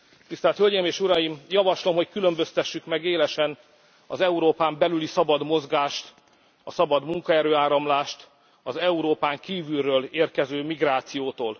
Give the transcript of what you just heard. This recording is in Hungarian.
Tisztelt Hölgyeim és Uraim, javaslom, hogy különböztessük meg élesen az Európán belüli szabad mozgást, a szabad munkaerő áramlást az Európán kívülről érkező migrációtól.